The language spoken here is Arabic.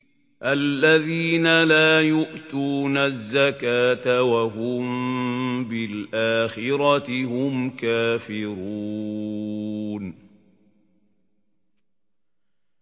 الَّذِينَ لَا يُؤْتُونَ الزَّكَاةَ وَهُم بِالْآخِرَةِ هُمْ كَافِرُونَ